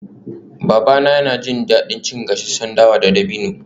Babana yana jin daɗin cin gasasshen dawa da dabino